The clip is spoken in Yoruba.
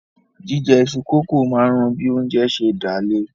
Jíjẹ iṣu-kókò máa ń ran bí oúnjẹ ń ṣé dà le